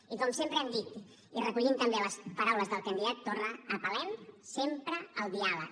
i com sempre hem dit i recollint també les paraules del candidat torra apel·lem sempre al diàleg